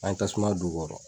An ye tasuma don u kɔrɔ.